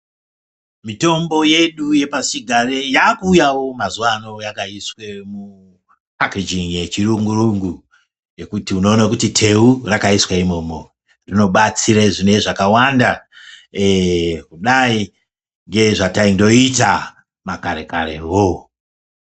Mitombo yedu yepasichigare yakuuyawo mazuwa ano yakaiswa mupakejingi yechirungu rungu yekuti unoona kuti teu rakaiswa imwomwo rinobatsira zvinenge zvakawanda kudayi ngezvataingoita makare karewo.